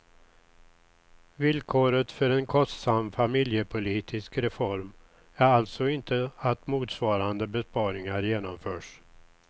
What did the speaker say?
Vilkoret för en kostsam familjepolitisk reform är alltså inte att motsvarande besparingar genomförs.